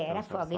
Era folga.